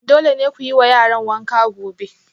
Dole ne ku yi wa yaran wanka gobe